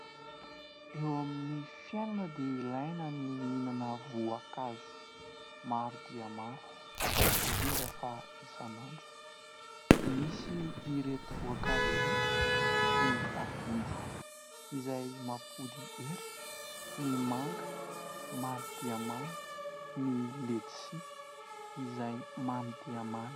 Eo amin'ny fiainana dia ilaina ny mihinana voankazo maro dia maro indrindra fa isan'andro. Misy ireto voankazo ireto ny akondro izay mampody hery, ny manga mamy dia many, ny letisia izay mamy dia mamy.